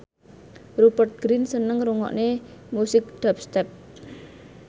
Rupert Grin seneng ngrungokne musik dubstep